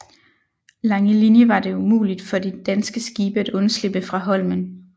Langelinie var det umuligt for de danske skibe at undslippe fra Holmen